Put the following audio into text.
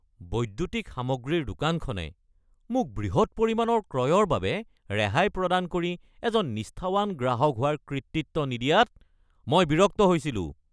বৈদ্যুতিক সামগ্ৰীৰ দোকানখনে মোক বৃহৎ পৰিমাণৰ ক্ৰয়ৰ বাবে ৰেহাই প্ৰদান কৰি এজন নিষ্ঠাৱান গ্ৰাহক হোৱাৰ কৃতিত্ব নিদিয়াত মই বিৰক্ত হৈছিলো।